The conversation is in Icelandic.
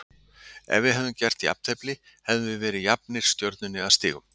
Ef við hefðum gert jafntefli hefðum við verið jafnir Stjörnunni að stigum.